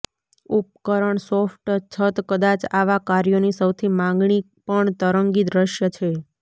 ઉપકરણ સોફ્ટ છત કદાચ આવા કાર્યોની સૌથી માગણી પણ તરંગી દૃશ્ય છે